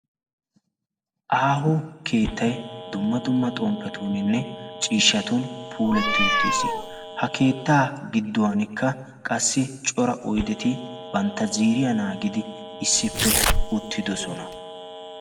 Aaho keettay dumma dumma xomppetuuninne ciishshatun puuletti uttiis ha keettaa gidduwankka qassi cora oideti bantta ziiriya naagidi issippe uttidosona.